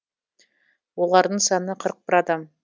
олардың саны қырық бір адам